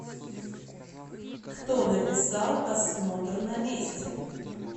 кто написал осмотр на месте